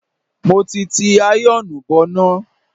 Mo ti ti àyọ̀ọ̀nù bọná.